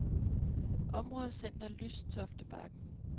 Områdecenter Lystoftebakken